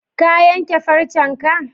Ka yanke farcenka?